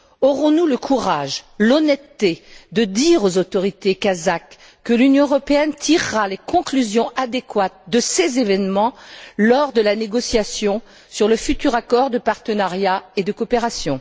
Aurons nous le courage et l'honnêteté de dire aux autorités kazakhes que l'Union européenne tirera les conclusions adéquates de ces événements lors de la négociation sur le futur accord de partenariat et de coopération?